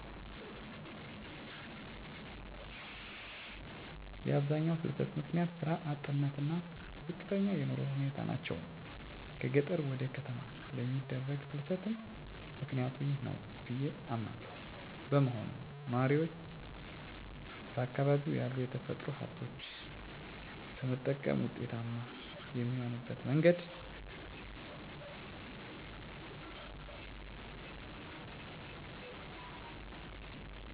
የአብዛኛው ፍልሰት ምክንያት ስራ አጥነት እና ዝቅተኛ የኑሮ ሁኔታ ናቸው። ከገጠር ወደ ከተማ ለሚደረግ ፍልስትም ምክኒያቱ ይህ ነው ብዬ አምናለው። በመሆኑም ነዋሪው በአካባቢው ያሉ የተፈጥሮ ሀብቶችን በመጠቀም ውጤታማ የሚሆንበት መንገድ መፍጠር ማለትም የተሻለ ግብርና ምርት ለማምረት የሚያስችል ስልጠና፣ የከብት እርባታ ስልጠና እና ድጋፍ. ፣ የእደጥበብ ውጤቶችን ለመሰራት ስልጠና የገበያ ትስስር መፍጠር። በተጨማሪም እ ድሜያቸው ለትምህርት የደረሱ ልጆች የሚማሩባቸውን ትምህርት ቤቶች በየአቅራቢያቸው በመስራት ፍልሰትን መቀነስ ይቻላል።